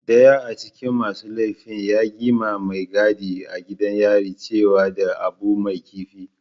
daya acikin masu laifi ya gi ma Mai gadi a gidan yari ciwo da Abu Mai karfi.